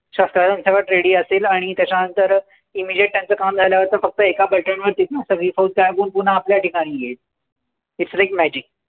शस्त्र अस्त्रांसकट ready असेल. आणि त्याच्यानंतर immediate त्यांचं काम झाल्यावर फक्त एका button वर तिथनं सगळी फौज गायब होऊन पुन्हा आपल्या ठिकाणी येईल. Its like magic.